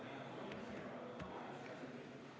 Hääletustulemused